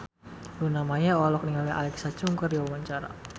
Luna Maya olohok ningali Alexa Chung keur diwawancara